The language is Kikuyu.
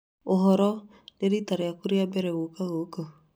Ũhoro nĩ rita rĩaku rĩa mbere gũũka gũkũ.